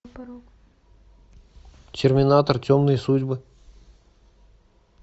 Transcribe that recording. терминатор темные судьбы